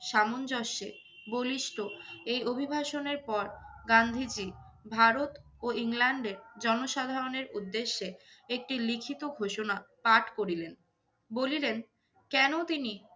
সামঞ্জস্যে বলিষ্ঠ এই অভিবাসনের পর গান্ধীজি ভারত ও ইংল্যান্ডের জনসাধারণের উদ্দেশ্যে একটি লিখিত ঘোষণা পাঠ করিলেন। বলিলেন, কেনো তিনি